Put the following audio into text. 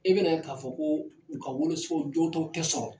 I bɛ na ye k'a fɔ ko u ka wolosɛbɛnw jɔw taw tɛ sɔrɔ.